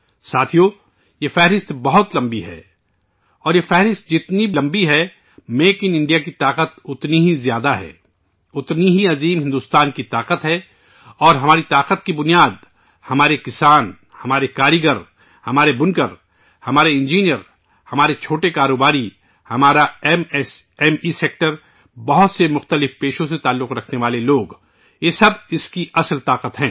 ساتھیو ، یہ فہرست بہت لمبی ہے اور یہ فہرست جتنی لمبی ہوگی، میک ان انڈیا کی طاقت اتنی ہی زیادہ ہوگی، اتنی ہی بھارت کی وسیع صلاحیت ہے اور اس صلاحیت کی بنیاد ہیں ہمارے کسان، ہمارے کاریگر، ہمارے بُنکر، ہمارے انجینئر ، ہمارے چھوٹے کاروباری، ہمارا M S M E sector, بہت سے مختلف پیشوں سے تعلق رکھنے والے لوگ، یہ سب اس کی حقیقی طاقت ہیں